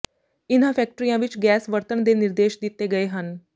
ਇਨ੍ਹਾਂ ਫੈਕਟਰੀਆਂ ਵਿਚ ਗੈਸ ਵਰਤਣ ਦੇ ਨਿਰਦੇਸ਼ ਦਿੱਤੇ ਗਏ ਹਨ